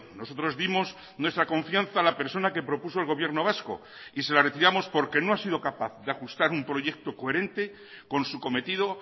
nosotros dimos nuestra confianza a la persona que propuso el gobierno vasco y se la retiramos porque no ha sido capaz de ajustar un proyecto coherente con su cometido